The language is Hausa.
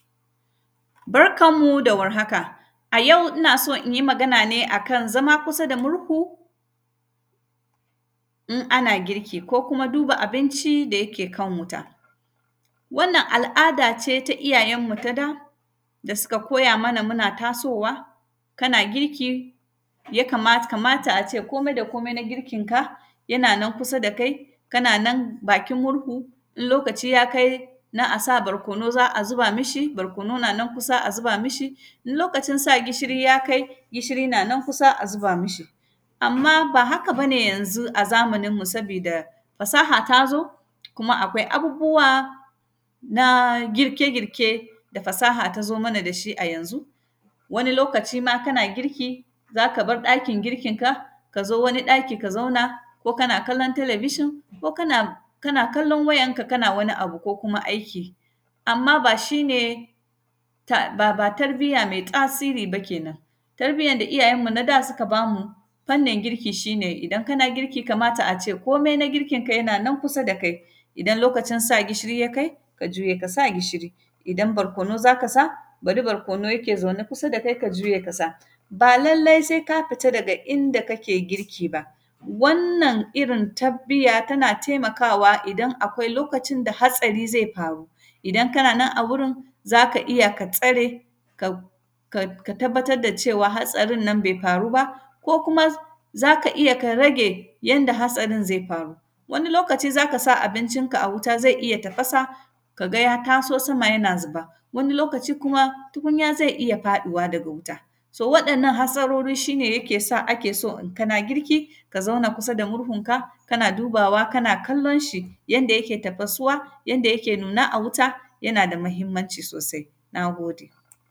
Barkan mu da warhaka, a yau ina so in yi magana ne a kan zama kusa da murhu in ana girki ko kuma duba abinci da yake kan wuta. Wannan, al’ada ce ta iyayenmu ta da, da sika koya mana muna tasowa, kana girki ya kamata, kamata a ce komai da komai na girkinka, yana nan kusa da kai, kana nan bakin murhu. In lokaci ya kai, na a sa barkono, za a zuba mishi, barkono na nan kusa a zuba mishi, in lokacin sa gishiri ya kai, gishiri na nan kusa, a zuba mishi. Amma, ba haka ba ne yanzu a zamaninmu, sabida fasaha ta zo, kuma akwai abubuwa na girke-girke da fasaha ta zo mana da shi a yanzu. Wani lokaci ma kana girki, za ka bar ɗakin girkinka, ka zo wani ɗaki ka zauna, ko kana kallon talebishin, ko kana, kana kallon wayanka kana wani abu ko kuma aiki. Amma, ba shi ne, ka; ba tarbiyya me ƙasiri ba kenan, tarbiyyan da iyayenmu na da suka ba mu fannin girki, shi ne idan kana girki kamata ace komi na girkinka yana nan kusa da kai. Idan lokacin sa gishiri ya kai, ka juya ka sa gishiri, idan barkono za ka sa, da du barkono yake zaune kusa da kai, ka juye ka sa. Ba lalle se ka fita daga inda kake girki ba, wannan irin tarbiyya tana temakawa idan akwai lokacin da hatsari zai faru. Idan kana nan a wurin, za ka iya ka tsare, ka; ka; ka tababtad da cewa hatsarin nan be faru ba, ko kuma za ka iya ka rage yanda hatsarin ze faru. Wani lokaci, za ka sa abincinka a wuta, ze iya tafasa ka gay a taso sama yana zuba, wani lokaci kuma, tukunya ze iya faɗuwa daga wuta. To, waɗannan hatsarori shi ne yake sa ake so in kana girki, ka zauna kusa da murhunka, kana dubawa kana kallon shi, yanda yake tafasuwa, yanda yake nuna a wuta, yana da muhimmanci sosai, na gode.